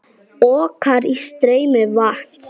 Orka í streymi vatns.